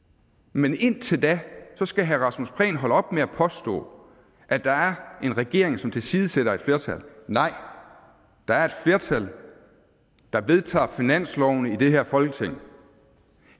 men indtil da skal herre rasmus prehn holde op med at påstå at der er en regering som tilsidesætter et flertal nej der er et flertal der vedtager finanslovene i det her folketing